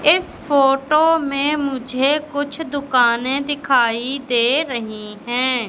इस फोटो में मुझे कुछ दुकानें दिखाई दे रही हैं।